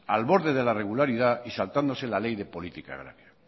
al borde de la irregularidad y saltándose la ley de política agraria